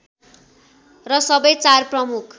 र सबै चार प्रमुख